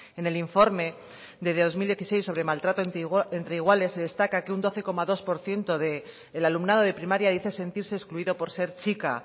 en el informe de dos mil dieciséis sobre maltrato entre iguales se destaca que un doce coma dos por ciento del alumnado de primaria dice sentirse excluido por ser chica